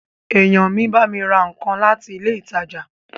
Èèyàn mi bámi ra nǹkan láti ilé ìtajà